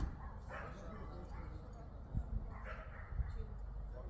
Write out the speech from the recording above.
Yox, o hardasa başqa cür düzəldə bilərlər.